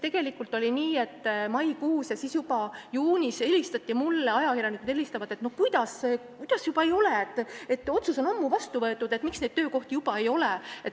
See toimus maikuus ja juba juunis ajakirjanikud helistasid, et kuidas neid ei ole, otsus on ammu vastu võetud, miks neid töökohti juba ei ole.